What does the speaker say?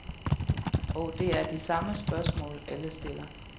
Og det er de samme spørgsmål, alle stiller.